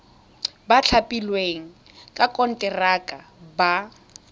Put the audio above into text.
ba thapilweng ka konteraka ba